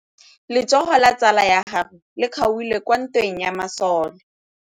Letsôgô la tsala ya gagwe le kgaogile kwa ntweng ya masole.